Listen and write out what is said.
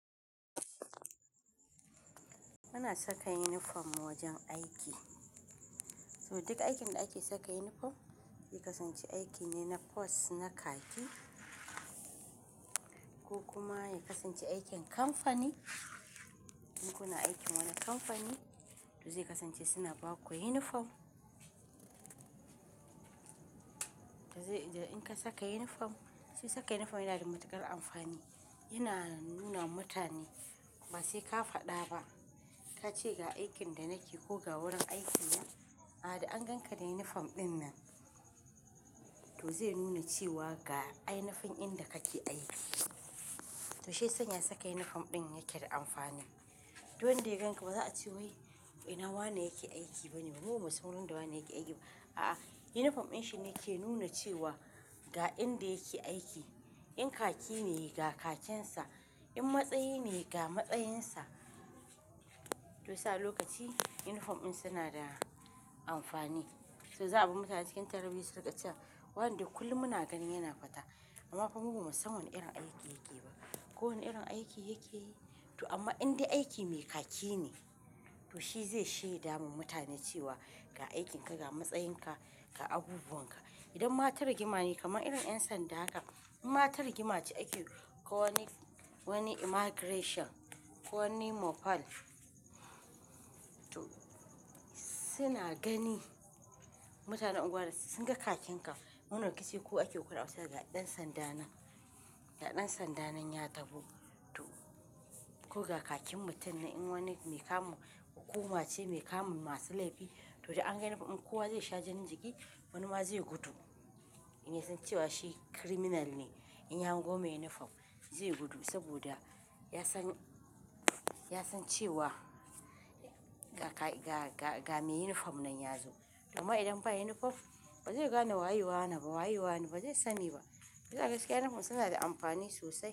Muna saka uniform wajen aiki. Saboda duk aikin da ake saka uniform, ya kasance aiki ne na force na kaki ko kuma ya kasance aikin kamfani. In kuna aikin wani kamfani, to zai kasance suna ba ku uniform. Da zai da in ka saka uniform, shi saka uniform yana da matuƙar amfani. Yana nuna mutane ba sai ka faɗa ba ka ce ga aikin da nake ko ga wurin aikin nan, a da an ganka da uniform ɗin nan. To zai nuna cewa ga ainafin inda kake aiki. To shai sanya saka uniform ɗin yake da amfani. Du wanda da ganka ba za a ce wai ina wane yake aiki bane, mu ba mu san wanda wane yake aiki ba. A'a uniform ɗin shi ne ke nuna cewa ga inda yake aiki. In khaki ne, ga khakin sa. In matsayi ne, ga matsayin sa. To sa a lokaci uniform ɗin suna da amfani. To za a bar mutane cikin tarabi sulkacin wanda kullum muna ganin yana fata. Amma kuma ba mu san wane irin aiki yake ba. Ko wane irin aiki yake yi. To amma indai aiki mai khaki ne, to shi zai shaida ma mutane cewa ga aikin ka, ga matsayin ka, ga abubuwan ka. Idan mata rigima ne kamar irin 'yan sanda haka, in mata rigima ce ake yi ko wani immigration ko wani mopal, to suna gani mutanen unguwar su singa khakin ka. Man raki shi ko ake kora ƙasar ga ɗan sanda nan. Ga ɗan sanda nan ya taho. To ko ga khakin mutum nan in wani mai kamu hukuma ce, mai kamun masu laifi to da an ga uniform in kowa zai sha jan riga, wani ma zai gudu. Ya san cewa shi criminal ne in ya hango mai uniform zai gudu saboda ya san, ya san cewa ga, ga, ga mai uniform nan ya zo. Amma idan ba yi uniform ba zai gane waye wane ba waye wane ba zai sani ba. Da gaske uniform suna da amfani sosai.